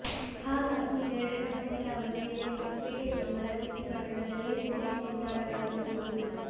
ಹಾಗಾಗಿ ಇವೆರಡರ ಮಧ್ಯದ ಅವಧಿಯಲ್ಲಿ ಹೊಸಪೇಟೆ ತಿರುಮಲದೇವಿ ಪಟ್ಟಣದಲ್ಲಿ ಕೋಟೆ ನಿರ್ಮಾಣವಾಗಿರಬಹುದು